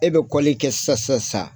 E bɛ kɛ sisasasa.